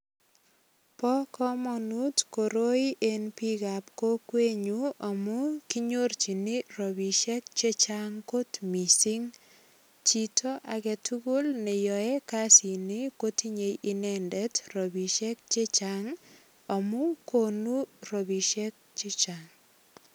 Bo kamanut koroi eng biikab kokwenyu amu kinyorchini rapisiek che chang kot mising. Chito agetugul ne yoe kasini kotinye inendet ropisiek che chang amu konu ropisiek che chang.